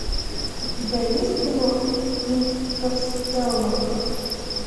у тебя есть кино интерстеллар